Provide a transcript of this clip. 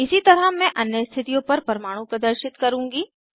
इसी तरह मैं अन्य स्थितियों पर परमाणु प्रदर्शित करुँगी